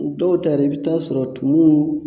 Dɔw ta yɛrɛ i bi taa sɔrɔ tumu